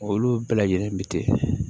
Olu bɛɛ lajɛlen bi kɛ